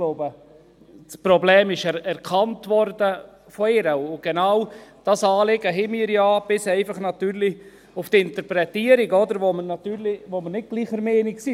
Ich glaube, das Problem wurde von ihr erkannt, und genau dieses Anliegen haben wir ja – natürlich bis auf die Interpretation, wo wir nicht gleicher Meinung sind.